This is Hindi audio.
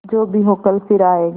जो भी हो कल फिर आएगा